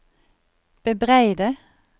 bebreide